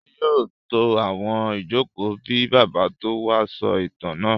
Ṣadé yóò tó àwọn ìjókòó kí Bàbá tó wá sọ ìtàn náà.